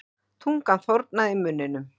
Tungan þornaði í munninum.